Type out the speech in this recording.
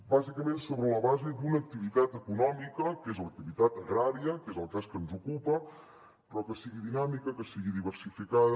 bàsicament sobre la base d’una activitat econòmica que és l’activitat agrària que és el cas que ens ocupa però que sigui dinàmica que sigui diversificada